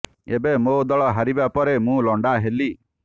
ଏବେ ମୋ ଦଳ ହାରିବା ପରେ ମୁଁ ଲଣ୍ଡା ହେଲି